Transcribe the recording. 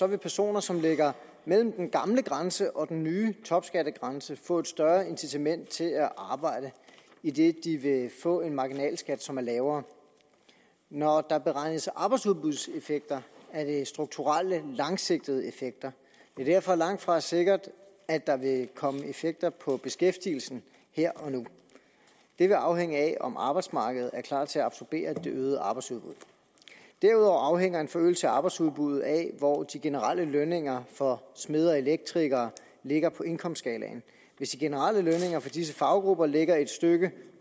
vil personer som ligger mellem den gamle grænse og den nye topskattegrænse få et større incitament til at arbejde idet de vil få en marginalskat som er lavere når der beregnes arbejdsudbudseffekter er det strukturelle langsigtede effekter det er derfor langt fra sikkert at der vil komme effekter på beskæftigelsen her og nu det vil afhænge af om arbejdsmarkedet er klar til at absorbere det øgede arbejdsudbud derudover afhænger en forøgelse af arbejdsudbuddet af hvor de generelle lønninger for smede og elektrikere ligger på indkomstskalaen hvis de generelle lønninger for disse faggrupper ligger et stykke